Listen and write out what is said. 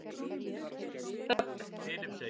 Ögn